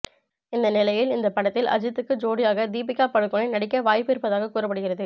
இந்த நிலையில் இந்த படத்தில் அஜித்துக்கு ஜோடியாக தீபிகா படுகோனே நடிக்க வாய்ப்பு இருப்பதாக கூறப்படுகிறது